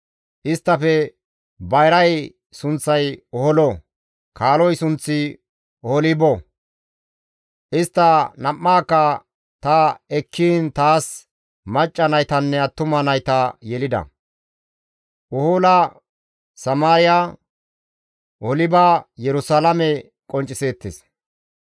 Isttafe bayray sunththay Oholo; kaaloy sunththi Oholibo. Istta nam7aakka ta ekkiin taas macca naytanne attuma nayta yelida. Ohola Samaariya, Oholiba Yerusalaame qoncciseettes.